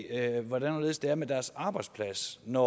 af hvordan og hvorledes det er med deres arbejdsplads når